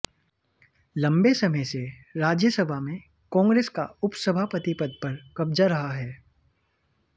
लंबे समय से राज्यसभा में कांग्रेस का उपसभापति पद पर कब्जा रहा है